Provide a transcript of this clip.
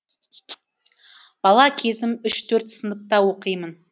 бала кезім үш төрт сыныпта оқимын